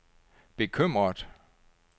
bekymret